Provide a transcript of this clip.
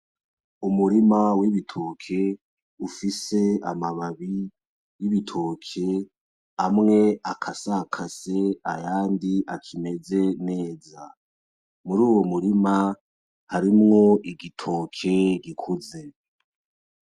Umurima w'ibitoke ufise amababi y'ibitoke amwe akasakase ayandi akimeze neza, muruwo murima harimwo igitoke gikuze.